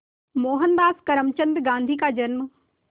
मोहनदास करमचंद गांधी का जन्म